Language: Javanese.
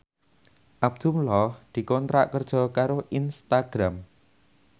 Abdullah dikontrak kerja karo Instagram